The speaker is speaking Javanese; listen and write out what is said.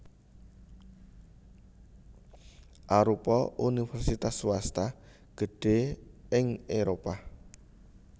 arupa universitas swasta gedhé ing Éropah